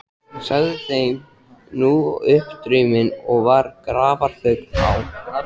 Sagði hann þeim nú upp drauminn og var grafarþögn á.